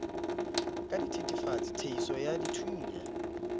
ka dithetefatsi theiso ya dithunya